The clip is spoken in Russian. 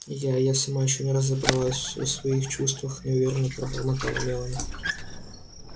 я я сама ещё не разобралась в своих чувствах неуверенно пробормотала мелани